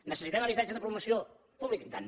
necessitem habitatge de promoció pública i tant